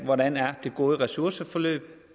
hvordan det gode ressourceforløb